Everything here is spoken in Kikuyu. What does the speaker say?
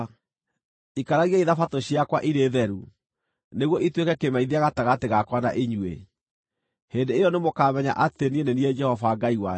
Ikaragiai Thabatũ ciakwa irĩ theru, nĩguo ituĩke kĩmenyithia gatagatĩ gakwa na inyuĩ. Hĩndĩ ĩyo nĩmũkamenya atĩ niĩ nĩ niĩ Jehova Ngai wanyu.”